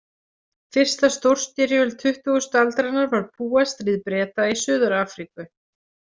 Fyrsta stórstyrjöld tuttugustu aldarinnar var Búastríð Breta í Suður- Afríku.